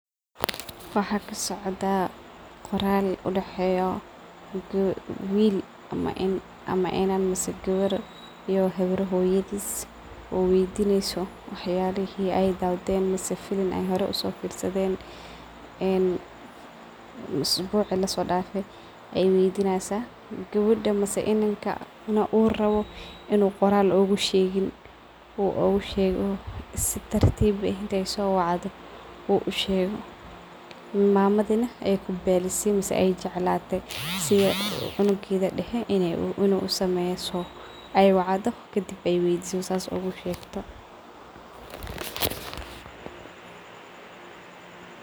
Waxaa kasocdaah qoral udaxeyo wil ama inan mise gewer iyo hoyadis oo weydineyso waxyalihi hore usofirsaden ama filin, waxay rabte in ay weydiso muqal ay hore iskukasodawden asagana waxaa muqatah in uu rawo sidagan in uu ugushego oo ismaqal ah ayadana waxay rabtah qoral ahaan , wilka casinimadisa ayaa meshas kamuqatah ay wacdho kadib ay weydiso kadib sas ugushegto.